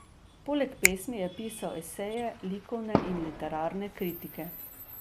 Poleg pesmi je pisal eseje, likovne in literarne kritike.